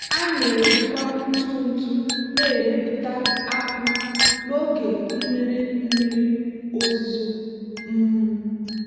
a na-ejikwa ntụ ntụ na-emepụta akpụ n'oge mmiri mmiri ozuzo. um